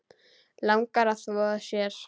Langar að þvo sér.